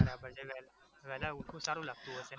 બરાબર છે વે વહેલા ઉઠવું સારું લાગતું હશે